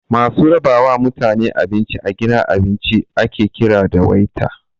Masu raba wa mutaene abinci a gidan abinci ake kira da 'Waiter'